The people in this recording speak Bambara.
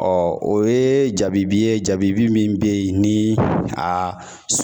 Ɔ o ye jabibi ye jabi min bɛ yen ni a